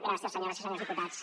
gràcies senyores i senyors diputats